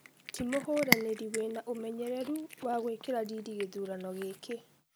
Timuhũranĩri wĩna ũmenyereru wa gũĩkĩra riri gĩthurano gĩkĩ.